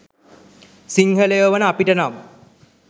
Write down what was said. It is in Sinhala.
සිංහලයෝ වන අපිට නම්